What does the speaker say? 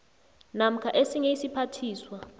namkha esinye isiphathiswa